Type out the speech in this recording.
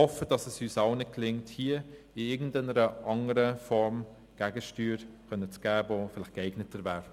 Ich hoffe, dass es uns allen gelingt, hier in irgendeiner anderen, vielleicht geeigneteren Form Gegensteuer zu geben.